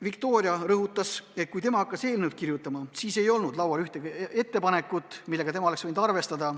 Viktoria rõhutas, et kui tema hakkas eelnõu kirjutama, siis ei olnud laual ühtegi ettepanekut, millega tema oleks võinud arvestada.